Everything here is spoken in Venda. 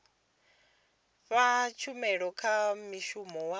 fha tshumelo kha mushumi wa